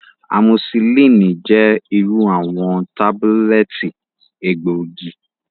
Amosillini jẹ iru awọn tabulẹti egboogi.